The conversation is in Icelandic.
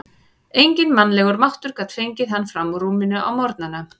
Enginn mannlegur máttur gat fengið hann fram úr rúminu á morgnana.